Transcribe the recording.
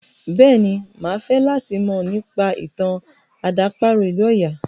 Bẹ́ẹ̀ni, máa fẹ́ràn láti mọ̀ nípa ìtàn àdàparo ìlú ọya.